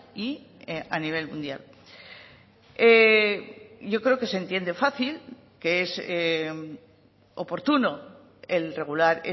y a nivel mundial yo creo que se entiende fácil que es oportuno el regular